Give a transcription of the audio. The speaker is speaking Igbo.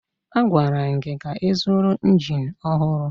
A gwara gị ka ịzụrụ injin ọhụrụ!